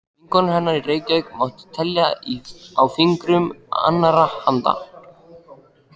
Vinkonur hennar í Reykjavík mátti telja á fingrum annarrar handar.